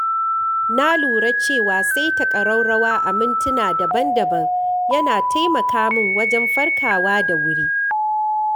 Na lura cewa saita ƙaraurawa a mintuna daban-daban yana taimaka min wajen farkawa da wuri.